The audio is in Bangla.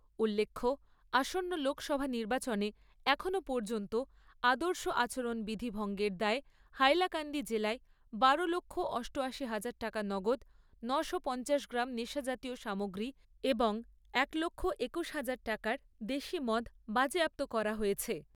উল্লেখ্য, আসন্ন লোকসভা নির্বাচনে এখনো পর্যন্ত আদর্শ আচরণবিধি ভঙ্গের দায়ে হাইলাকান্দি জেলায় বারো লক্ষ অষ্ট আশি হাজার টাকা নগদ ন'শো পঞ্চাশ গ্রাম নেশা জাতীয় সামগ্রী এবং এক লক্ষ একুশ হাজার টাকার দেশী মদ বাজেয়াপ্ত করা হয়েছে।